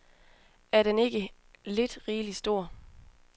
Er den ikke lidt rigelig stor.